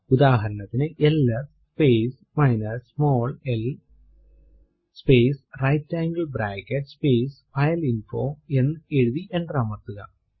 ഉദാഹരണത്തിനു L S space minus small l space right angle bracket space file info എന്ന് എഴുതി enter അമർത്തുക